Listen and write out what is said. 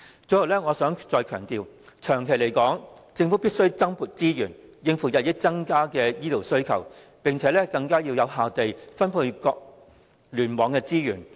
最後，我想再次強調，長遠而言，政府必須增撥資源，以應付日益增加的醫療需求，並更有效地分配各聯網的資源。